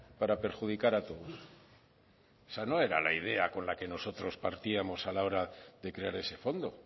para perjudicar a todos esa no era la idea con la que nosotros partíamos a la hora de crear ese fondo